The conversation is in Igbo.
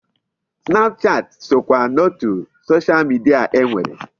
Snapchat sokwa n'otu Social media e nwere.